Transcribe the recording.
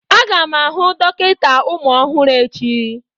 Aga m ahụ dọkịta ụmụ ọhụrụ echi.